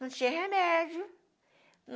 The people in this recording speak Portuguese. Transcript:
Não tinha remédio.